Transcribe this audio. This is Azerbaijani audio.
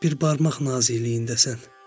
Bir barmaq nazikliyindəsən.